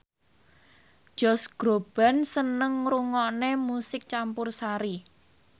Josh Groban seneng ngrungokne musik campursari